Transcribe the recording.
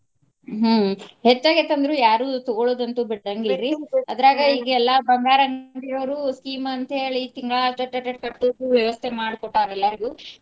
ಹ್ಮ ಹೆಚ್ಚ ಆಗೇತಿ ಅಂದ್ರು ಯಾರು ತಗೊಳೋದು ಅಂತು ಬಿಡಾಂಗಿಲ್ರೀ ಅದ್ರಾಗ ಈಗ ಎಲ್ಲಾ ಬಂಗಾರ ಅಂಗಡಿಯವರು scheme ಅಂತ ಹೇಳಿ ತಿಂಗಳಾ ಅಟಟ ಅಟಟ ಕಟ್ಟುದು ವ್ಯವಸ್ಥೆ ಮಾಡಿ ಕೊಟ್ಟಾರ ಅಲ್ಲಾ ಇದು.